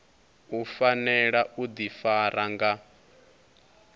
u fanela u ḓifara nga